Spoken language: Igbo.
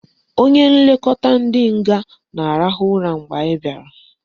Onye nlekọta ndị nga na-arahụ ụra mgbe anyị bịara